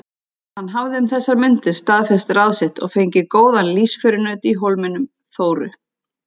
Hann hafði um þessar mundir staðfest ráð sitt og fengið góðan lífsförunaut í Hólminum, Þóru